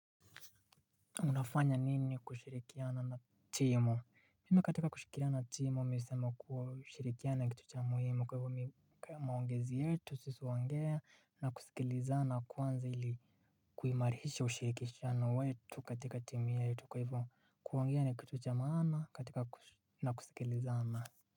Unafanya nini kushirikiana na timu? Mimi katika kushirikiana na timu mimi husema kuwa kushirikiana na kitu cha muhimu. Kwa hivyo mimi maongezi yetu, sisi huongea na kusikilizana kwanza ili kuimarisha ushirikishano wetu katika timu yetu. Kwa hivyo kuongea na kitu cha maana katika na kusikilizana.